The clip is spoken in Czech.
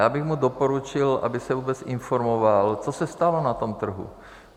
Já bych mu doporučil, aby se vůbec informoval, co se stalo na tom trhu.